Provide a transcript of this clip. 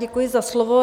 Děkuji za slovo.